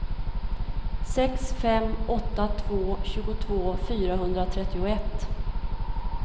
sex fem åtta två tjugotvå fyrahundratrettioett